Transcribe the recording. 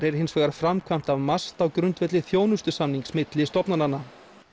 er hins vegar framkvæmt af MAST á grundvelli þjónustusamnings milli stofnananna